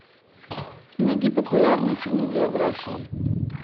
найди популярные фильмы биографии